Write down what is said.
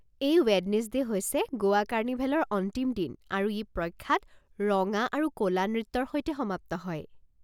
S Wednesday হৈছে গোৱা কাৰ্নিভেলৰ অন্তিম দিন আৰু ই প্ৰখ্যাত ৰঙা আৰু ক'লা নৃত্যৰ সৈতে সমাপ্ত হয়।